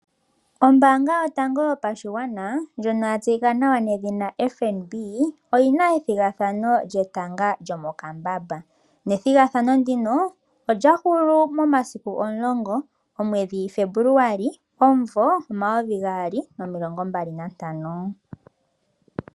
Ombaanga yotango yopashigwana, ndjono yatseyika nawa nedhina FNB oyina ethigathano lyetanga lyomokambamba. Ethigathano ndyoka olyahulu momasiku omulongo, omwedhi Febuluali omumvo omayovi gaali nomilongo mbali nantano.